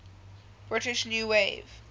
british new wave